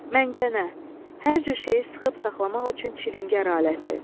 Məngənə, hər cür şeyi sıxıb saxlamaq üçün çilingər aləti.